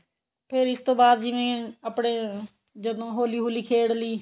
ਫਿਰ ਇਸ ਤੋਂ ਬਾਅਦ ਜਿਵੇਂ ਆਪਣੇ ਜਦੋਂ ਹੋਲੀ ਹੁਲੀ ਖੇਡ ਲਈ